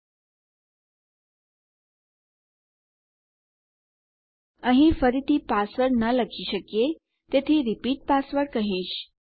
આપણે અહીં ફરીથી પાસવર્ડ ન લખી શકીએ તેથી રિપીટ પાસવર્ડ કહીશ